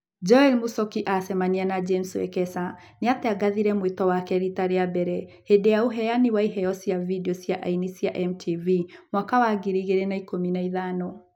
Joel Muchoki acamania na James Wekesa, nĩatangathire mwĩto wake rita rĩa mbere hĩndĩ ya ũheani wa iheo cia video cia aini cia MTV mwaka wa ngiri igĩrĩ na ikũmi na ithano